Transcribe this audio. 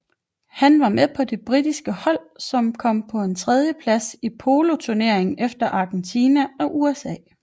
Han var med på det britiske hold som kom på en tredjeplads i poloturneringen efter Argentina og USA